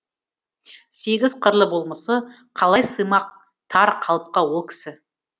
сегіз қырлы болмысы қалай сыймақ тар қалыпқа ол кісі